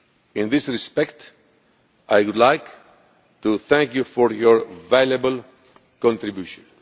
In this respect, I would like to thank you for your valuable contribution.